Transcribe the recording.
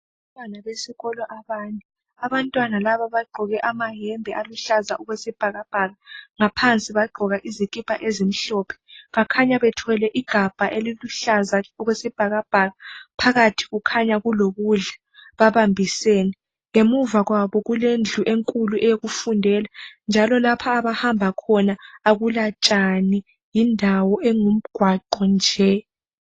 Abantwana besikolo abane, abantwana laba bagqoke amayembe aluhlaza okwesibhakabhaka, ngaphansi bagqoka izikipa ezimhlophe. Bakhanya bethwele igabha eliluhlaza okwesibhakabhaka phakathi kukhanya kulokudla babambisene. Ngemuva kwabo kulendlu enkulu eyokufundela njalo lapha abahamba khona akulatshani yindawo engumgwaqo nje.